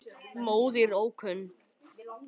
Móðir ókunn.